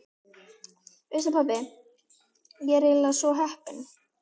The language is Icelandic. Veistu pabbi, ég er eiginlega svo heppin.